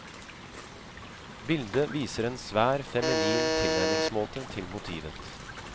Bildet viser en svært feminin tilnærmingsmåte til motivet.